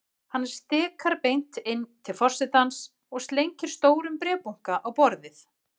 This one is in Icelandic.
Hann stikar beint inn til forsetans og slengir stórum bréfabunka á borðið.